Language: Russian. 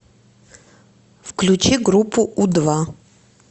включи группу у два